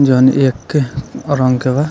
जौन एक रंग के बा।